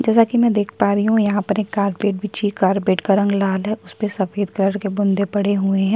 जैसा कि मैं देख पा रही हूँ यहाँ पर एक कारपेट बिछी है कारपेट का रंग लाल है उस पे सफेद कलर के बुँदे पड़े हुए हैं।